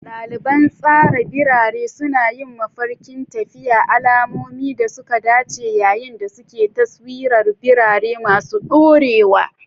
Daliban tsara birane suna yin mafarkin tafiya, al'ummomin da suka dace yayin da suke taswirar birane masu dorewa.